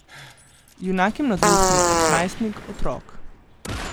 Junak je mladostnik, najstnik, otrok...